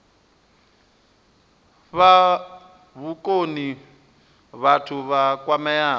fha vhukoni vhathu vha kwameaho